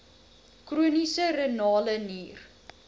chroniese renale nier